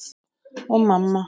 Og mamma.